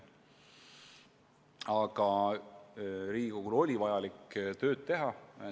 Aga Riigikogul oli vaja tööd teha.